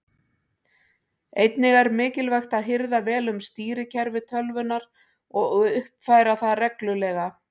Einnig er mikilvægt að hirða vel um stýrikerfi tölvunnar og uppfæra það reglulega.